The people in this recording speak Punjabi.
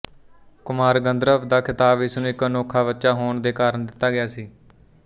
ਕੁਮਾਰ ਗੰਧਰਵ ਦਾ ਖਿਤਾਬ ਇਸਨੂੰ ਇੱਕ ਅਨੋਖਾ ਬੱਚਾ ਹੋਣ ਦੇ ਕਾਰਨ ਦਿੱਤਾ ਗਿਆ ਸੀ